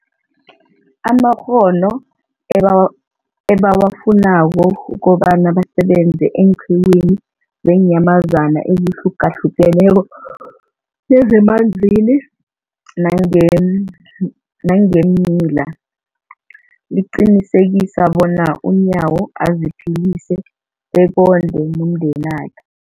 amakghono ebawa ebawafunako ukobana basebenze eenqiwini zeenyamazana ezihlukahlukeneko nezemanzini nangeem nangeemila, liqinisekisa bona uNyawo aziphilise bekondle nomndenakhe.